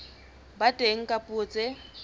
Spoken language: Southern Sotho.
ba teng ka dipuo tse